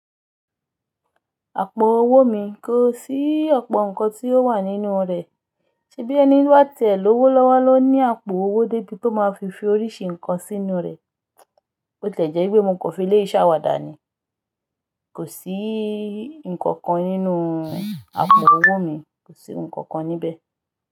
Àpò owó mi kò sí ọ̀pọ̀ ǹkan tí ó wà nínú rẹ̀, ṣe bí ẹni bá tẹ̀ lówó lọ́wọ́ ló ní àpò owó débi tó máa fi fi oríṣi ǹkan sínú rẹ̀. Ó ti lè jẹ́ pé mò kò fi ilé ìṣàwàdà ni, kò sí ǹkankan nínú àpò owó mi, kò sí ǹkankan níbẹ̀